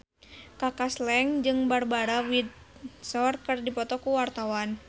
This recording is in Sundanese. Kaka Slank jeung Barbara Windsor keur dipoto ku wartawan